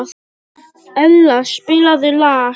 Ella, spilaðu lag.